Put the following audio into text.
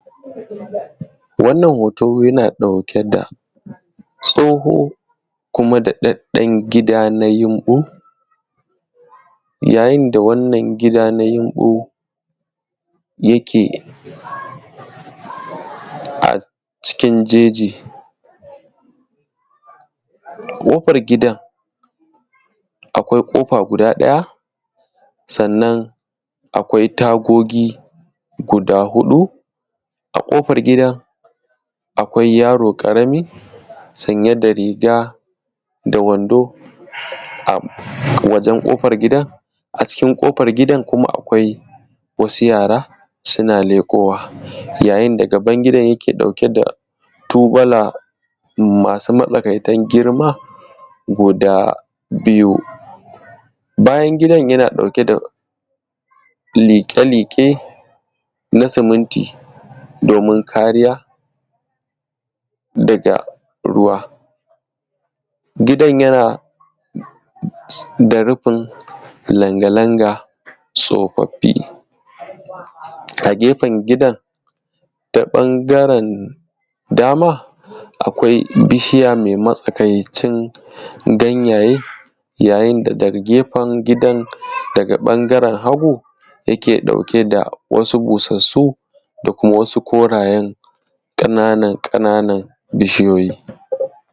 wannan hoto yana ɗauke da tsoho kuma da daɗaɗɗan gida na yumɓu yayin da wannan gida na yumbu yake a cikin jeji ƙofar gidan akwai ƙofa guda ɗaya sannan akwai tagogi guda huɗu a ƙofar gidan akwai yaro ƙarami sanye da riga da wando a wajen ƙofar gidan a cikin ƙofar gidan kuma akwai wasu yara suna leƙowa yayin da gaban gidan yake ɗauke da tubala masu matsakaitan girma guda biyu bayan gidan yana ɗauke da liƙe liƙe na sumunti domin kariya daga ruwa gidan yana da rufin langa langa tsofaffi a gefen gidan ta ɓangaran dama akwai bishiya mai matsakaicin ganyaye yayin da daga gefen gidan ta ɓangaren hagu yake ɗauke da wasu busassun da wasu korayen ƙananan ƙana; nan bishiyoyi